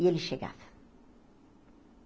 E ele chegava.